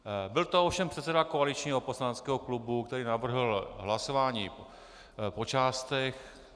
Byl to ovšem předseda koaličního poslaneckého klubu, který navrhl hlasování po částech.